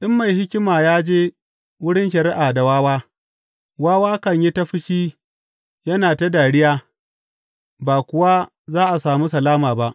In mai hikima ya je wurin shari’a da wawa, wawa kan yi ta fushi yana ta dariya, ba kuwa za a sami salama ba.